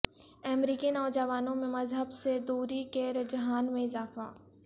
امریکی نوجوانوں میں مذہب سے دوری کے رجحان میں اضافہ